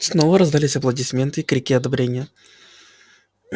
снова раздались аплодисменты и крики одобрения